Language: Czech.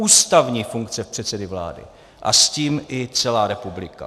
Ústavní funkce předsedy vlády a s tím i celá republika.